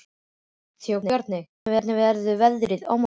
Þórbjarni, hvernig verður veðrið á morgun?